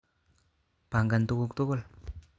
Pagan tuguguk tugul